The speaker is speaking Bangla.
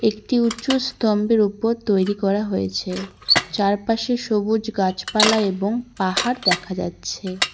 একটি উঁচু স্তম্ভের ওপর তৈরি করা হয়েছে চারপাশে সবুজ গাছপালা এবং পাহাড় দেখা যাচ্ছে।